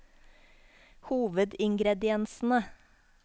hovedingrediensene